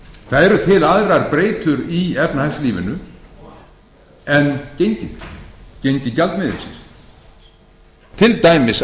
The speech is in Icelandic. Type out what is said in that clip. öll það eru til aðrar breytur í efnahagslífinu en gengið gengi gjaldmiðilsins til dæmis atvinnustigið til dæmis